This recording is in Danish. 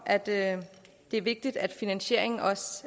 at det er vigtigt at finansieringen